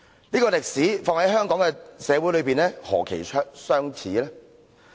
這個歷史放在香港社會是何其相似。